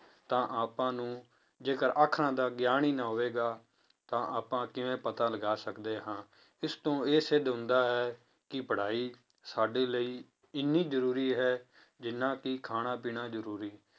ਤਾਂ ਆਪਾਂ ਨੂੰ ਜੇਕਰ ਆਖਣ ਦਾ ਗਿਆਨ ਹੀ ਨਹੀਂ ਹੋਵੇਗਾ ਤਾਂ ਆਪਾਂ ਕਿਵੇਂ ਪਤਾ ਲਗਾ ਸਕਦੇ ਹਾਂ, ਇਸ ਤੋਂ ਇਹ ਸਿੱਧ ਹੁੰਦਾ ਹੈ ਕਿ ਪੜ੍ਹਾਈ ਸਾਡੇ ਲਈ ਇੰਨੀ ਜ਼ਰੂਰੀ ਹੈ ਜਿੰਨਾ ਕਿ ਖਾਣਾ ਪੀਣਾ ਜ਼ਰੂਰੀ